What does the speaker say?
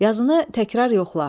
Yazını təkrar yoxla.